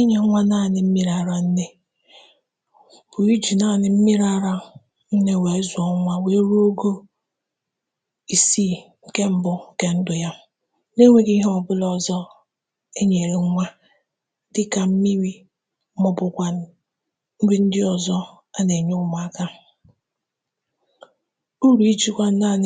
Ịnye nwa n’anị mmiri ara nne pụtara ị na-enye nwa ahụ naanị mmiri ara nne maka ọnwa isii mbụ nke ndụ ya, na-enweghị inye ya nri ma ọ bụ ihe ọṅụṅụ ọzọ, ọbụnadị mmiri. Inyefe nwa n’anị mmiri ara nne na-enye ụmụaka uru dị ukwuu. Ịnye naanị mmiri ara nne maka ọnwa isii mbụ na-eme ka ahụ nwa sie ike ma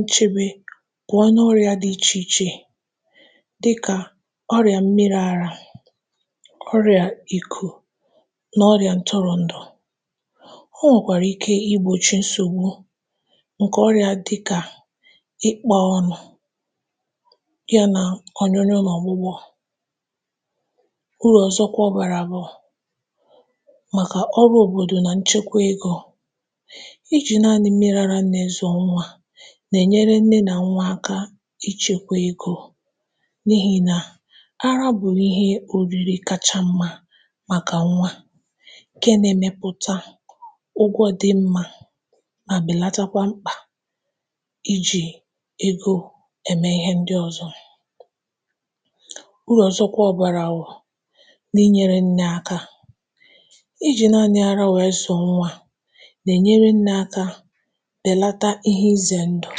na-echebe ya pụọ n’ọrịa dị iche iche, dịka ọrịa afọ ọsịsa, ikū, na ọrịa nje. Ọ nwekwara ike igbochi ọrịa ndị dị ka ọrịa ntị na pneumonia. Uru ọzọ nke inye nwa n’anị mmiri ara nne bụ na ọ na-enyere nne na nwa ha abụọ ịdị n’ahụ ike, ma na-echekwa ego n’ihi na mmiri ara nne bụ nri kacha mma ma bụrụ nke eke maka nwa. Ọ dị ọcha, na-adị mgbe niile, ma ọ naghị achọ ịzụta ma ọ bụ kwadebe nri ọzọ. um Inyefe nwa n’anị mmiri ara nne na-enyekwa nne aka ka o weghachite ahụ mgbe ọ mụsịrị nwa, ma na-enyekwa aka belata ihe ize ndụ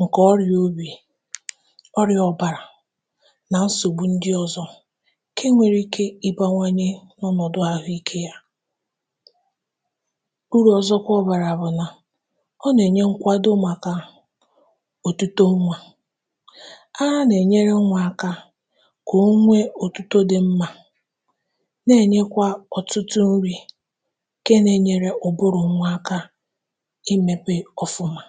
nke ọrịa obi, nrụgide ọbara elu, na ọrịa ndị ọzọ. Ọ na-eme ka ahụ nke nne na nke nwa dị mma n’ozuzu ya. Ịnye nwa ara nwekwara uru n’ichekwa mmekọahụ nke nne na nwa, na-enye nwa mmalite ndụ ọma ma na-eme ka uto na mmepe ya dị mma.